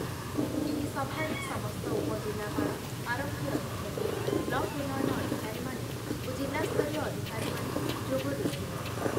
ଏହି ସଭାରେ ସମସ୍ତ ଉପଜିଲ୍ଲାପାଳ, ଆରକ୍ଷୀ ଅଧିକ୍ଷକ, ବ୍ଲକ୍ ଉନ୍ନୟନ ଅଧିକାରୀମାନେ ଓ ଜିଲ୍ଲାସ୍ତରୀୟ ଅଧିକାରୀମାନେ ଯୋଗ ଦେଇଥିଲେ ।